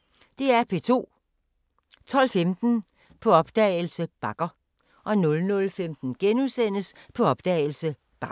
12:15: På opdagelse – Bakker 00:15: På opdagelse – Bakker *